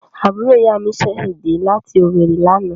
Àbúrò ìyá mi ṣẹ̀ dẹ́ láti Owerri lánàá.